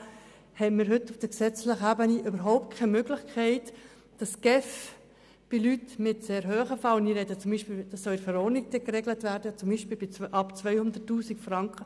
Im Gegensatz dazu haben wir gegenwärtig auf der gesetzlichen Ebene überhaupt keine Möglichkeit, dass die GEF solch komplexe Fälle ein wenig im Auge behalten und den einzelnen Gemeinden im Umgang damit helfen kann.